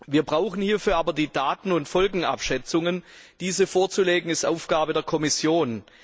Wir brauchen hierfür aber die Daten und Folgenabschätzungen. Diese vorzulegen, ist Aufgabe der Kommission.